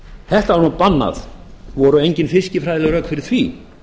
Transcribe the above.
þetta var bannað voru engin fiskifræðileg rök fyrir því